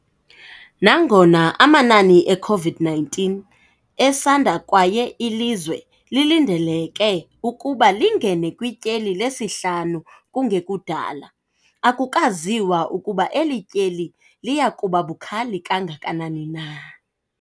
Nangona amanani e-COVID-19 esanda kwaye ilizwe lilindeleke ukuba lingene kwityeli lesihlanu kungekudala, akukaziwa ukuba eli tyeli liya kuba bukhali kangakanani na.